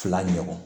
Fila ɲɔgɔn